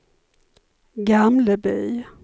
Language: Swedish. Gamleby